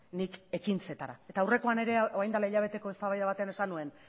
nik ekintzetara eta aurrekoan ere orain dela hilabete eztabaida batean esan nuen